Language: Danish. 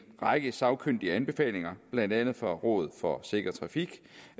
række sagkyndige anbefalinger blandt andet fra rådet for sikker trafik